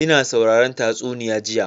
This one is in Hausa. Ina sauraron tatsuniya jiya.